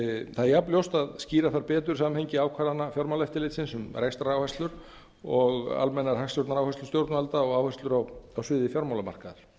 það er jafnljóst að skýra þarf betur samhengi ákvarðana fjármálaeftirlitsins um rekstraráherslur og almennar hagstjórnaráherslur stjórnvalda og áherslur á sviði fjármálamarkaðar